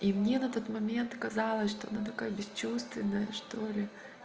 и мне на тот момент казалось что она такая бесчувственная что-ли